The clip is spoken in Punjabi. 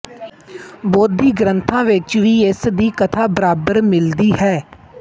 ਬੋਧੀ ਗਰੰਥਾਂ ਵਿੱਚ ਵੀ ਇਸ ਦੀ ਕਥਾ ਬਰਾਬਰ ਮਿਲਦੀ ਹੈ